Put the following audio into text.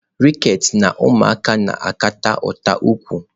Rickets na ụmụaka na-akpata ụta ụkwụ.